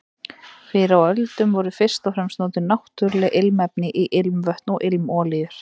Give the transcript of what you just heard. Fyrr á öldum voru fyrst og fremst notuð náttúruleg ilmefni í ilmvötn og ilmolíur.